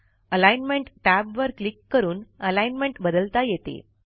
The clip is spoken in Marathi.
अलाइनमेंट टॅब वर क्लिक करून अलाईनमेंट बदलता येते